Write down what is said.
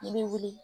I bɛ wuli